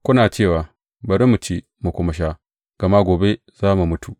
Kuna cewa, Bari mu ci mu kuma sha, gama gobe za mu mutu!